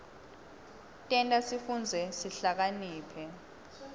tenta sifundze sihlakaniphe